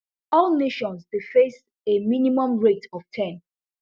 all nations dey face a minimum rate of ten